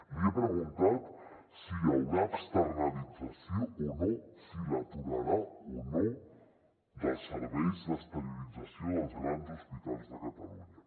li he preguntat si hi haurà externalització o no si l’aturarà o no dels serveis d’esterilització dels grans hospitals de catalunya